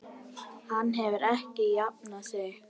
Hann hefur ekki jafnað sig.